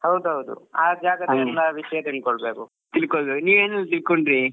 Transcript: ಹೌದ್ ಹೌದು ಆ ಜಾಗದ ಎಲ್ಲ ವಿಷ್ಯ ತಿಳ್ಕೊಳ್ಬೇಕು.